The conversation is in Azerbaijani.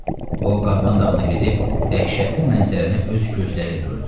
O Qarğan dağına gedib dəhşətli mənzərəni öz gözləri ilə gördü.